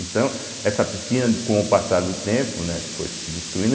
Então, essa piscina, com o passar do tempo, né, foi se destruindo.